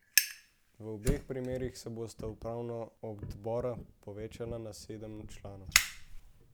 V obeh primerih se bosta upravna odbora povečala na sedem članov.